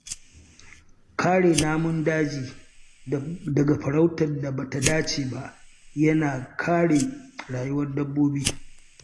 Kare namun daji daga farautar da ba ta dace ba yana kare rayuwar dabbobi.